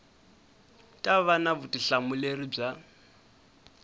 ta va na vutihlamuleri bya